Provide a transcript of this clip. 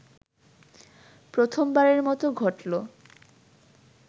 প্রথমবারের মতো ঘটলো